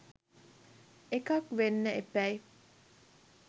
එකක් වෙන්න එපැයි.